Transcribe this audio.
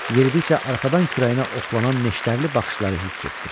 Yeridikcə arxadan kürəyinə oxlanan neştərli baxışları hiss etdi.